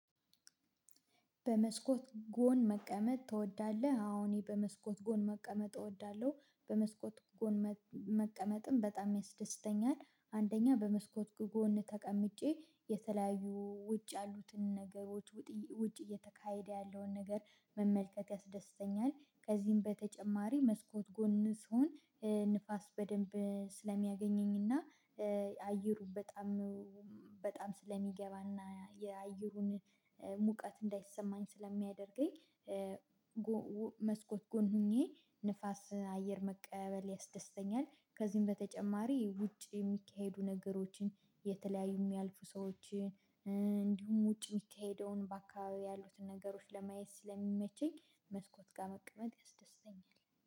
በመስኮት ጎን መቀመጥ ትወዳለህ? አዎ እኔ በመስኮት ጎን መቀመጥ እወዳለሁ። በመስኮት ጎን መቀመጥም በጣም ያስደስተኛል አንደኛ በመስኮት ጎን ተቀምጬ የተለያዩ ውጭ ያሉትን ነገሮች ውጭ እየተካሄደ ያለውን ነገር መመልከት ያስደስተኛል። ከዚህም በተጨማሪ መስኮት ጎን ስሆን ንፋስ በደንብ ስለሚያገኘኝና አየሩ በጣም በጣም ስለሚገባና የአየሩን ሙቀት እንዳይሰማኝ ስለሚያደርገኝ። መስኮት ጎን ሆኜ ንፋስ አየር መቀበል ያስደስተኛል። ከዚህም በተጨማሪ ውጭ የሚካሄዱ ነገሮችን የተለያዩ የሚያልፉ ሰዎችን እንዲሁም ውጭ የሚካሄደውን በአካባቢው ያሉትን ነገሮች ለማየት ስለሚመቸኝ መስኮት ጋር መቅመጥ ያስደስተኛል